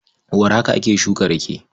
Warhaka ake shuka rake.